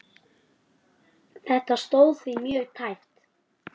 Þetta stóð því mjög tæpt.